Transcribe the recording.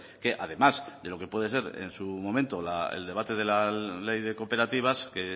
que además de lo que puede ser en su momento el debate de la ley de cooperativas que